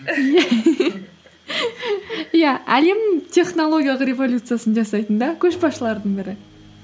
иә әлем технологиялық революциясын жасайтын да көшбасшылардың бірі